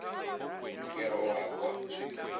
ke re o a kwa